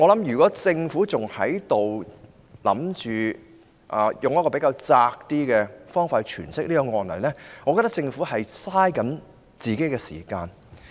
如果政府還打算用較狹窄的方法詮釋這案例，我便會認為政府正在浪費時間。